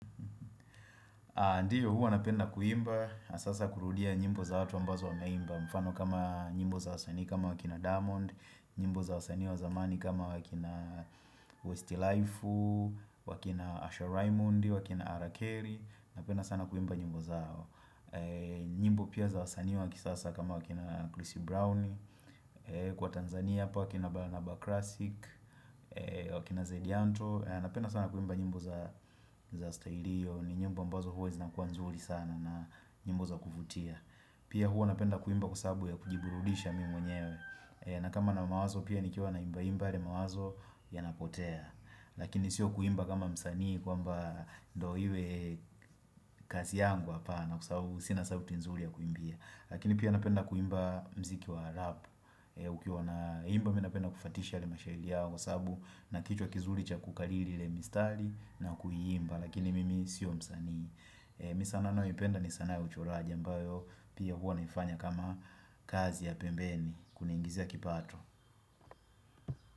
Ndiyo huwu napenda kuimba, hasa sasa kurudia nyimbo za watu ambazo wameimba, mfano kama nyimbo za wasanii kama wakina Diamond, nyimbo za wasanii wa zamani kama wakina Westy Laifu, wakina Asha Raymond, wakina Ara Carrey, napenda sana kuimba nyimbo zao. Nyimbo pia za wasanii wa kisasa kama wakina Chrissy Brown Kwa Tanzania hapa wakina Baranaba Classic wakina Zedianto napenda sana kuimba nyimbo za stailio ni nyimbo ambazo huwa zinakuwa nzuri sana na nyimbo za kufutia Pia huwa napenda kuimba kwa sababu ya kujiburudisha mi mwenyewe na kama na mawazo pia nikiwa naimba imba yale mawazo yanapotea Lakini sio kuimba kama msanii kwamba ndo iwe kaszi yangu hapana kwa sababu sina sauti nzuri ya kuimbia lakini pia napenda kuimba mziki wa rap ukiwa naimba mi napenda kufuatisha yale mashahili yao kwa sababu na kichwa kizuri cha kukaliri ile mistari na kuiimba lakini mimi sio msanii ni sanaa ninayoipenda ni sana ya uchoraji mbayo pia huwa naifanya kama kazi ya pembeni kuniingizia kipato.